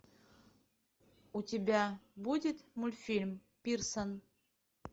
у тебя будет мультфильм пирсон